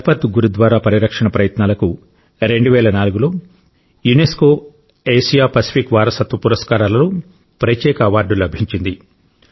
లఖ్పత్ గురుద్వారా పరిరక్షణ ప్రయత్నాలకు 2004 లో యునెస్కో ఆసియా పసిఫిక్ వారసత్వ పురస్కారాలలో ప్రత్యేక అవార్డు లభించింది